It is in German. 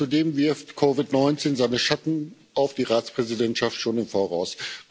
Zudem wirft COVID 19 seine Schatten auf die Ratspräsidentschaft schon voraus.